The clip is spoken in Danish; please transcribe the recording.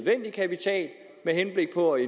på i